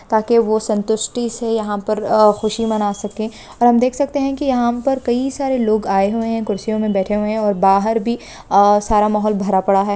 ताके वह संतुष्टि से यहां पर आ खुशि मना सके और हम देख सकते हैं कि यहां पर कई सारे लोग आए हुए हैं कुर्सियों में बैठे हुए हैं और बाहार भी आ सारा माहौल भरा पड़ा है।